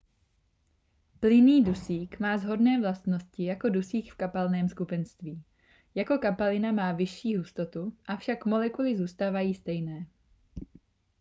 plynný dusík má shodné vlastnosti jako dusík v kapalném skupenství jako kapalina má vyšší hustotu avšak molekuly zůstávají stejné